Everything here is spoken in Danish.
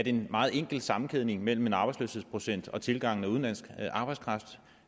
en meget enkel sammenkædning mellem en arbejdsløshedsprocent og tilgangen af udenlandsk arbejdskraft